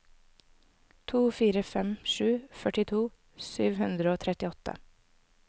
to fire fem sju førtito sju hundre og trettiåtte